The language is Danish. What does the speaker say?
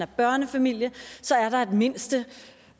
børnefamilie